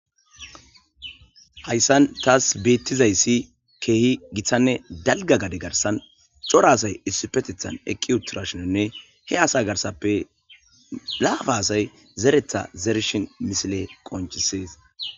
hayssan taas beettizayssi keehi gitanne dalga gade garsan cora asay issu petethan eqqi uturashononne he asa garsappe laafa asay zeretha zerishin misile qonchisees